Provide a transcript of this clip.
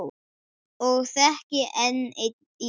Og þekki enn í dag.